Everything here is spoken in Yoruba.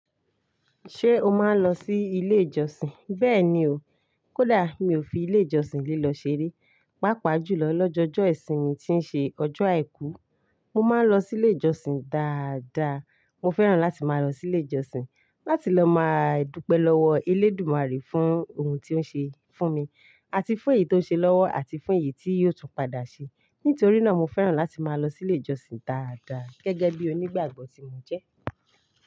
Ṣé o máa ń lọ sí ilé ìjọsìn? Bẹ́ẹ̀ni o, kódà mi ò fi ilé ìjọsìn lílọ ṣeré. Pápá jùlọ lọ́jọ́ọ́ọ́jọ́ ìsinmi tí ń ṣe ọjọ́ àìkú, mo máa ń lọ sí ilé ìjọsìn dáadáa. Mo fẹ́ràn láti máa lọ sí ilé ìjọsìn láti lọ máa dúpẹ́ lọ́wọ́ Elédùmarè fún ohun tí ó ń ṣe fún mi àti fún èyí tó ń ṣe lọ́wọ́ àti fún èyí tí yóò tún padà ṣe. Nítorí náà mo fẹ́ràn láti máa lọ sí ilé ìjọsìn dáadáa gẹ́gẹ́ bí onígbàgbọ́ tí mo jẹ́